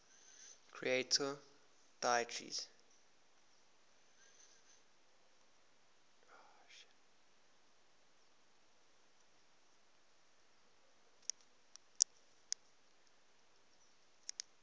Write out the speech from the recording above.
creator deities